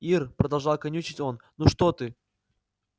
ир продолжал канючить он ну что ты